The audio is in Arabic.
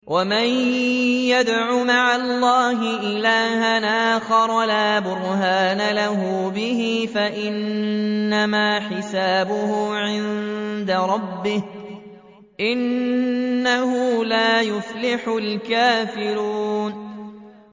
وَمَن يَدْعُ مَعَ اللَّهِ إِلَٰهًا آخَرَ لَا بُرْهَانَ لَهُ بِهِ فَإِنَّمَا حِسَابُهُ عِندَ رَبِّهِ ۚ إِنَّهُ لَا يُفْلِحُ الْكَافِرُونَ